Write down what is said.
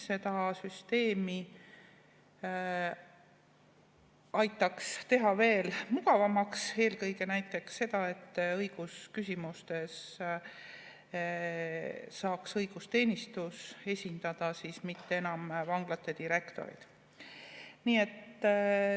Seda süsteemi saaks teha veel mugavamaks, näiteks õigusküsimustes saaks esindada õigusteenistus, mitte enam vanglate direktorid.